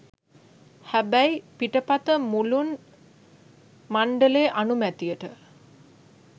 හැබැයි පිටපත මුලුන් මණ්ඩලේ අනුමැතියට